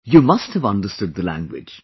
you must have understood the language